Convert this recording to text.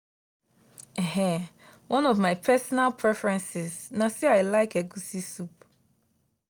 um one of my personal preferences na say i like egusi soup.